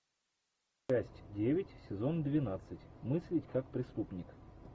часть девять сезон двенадцать мыслить как преступник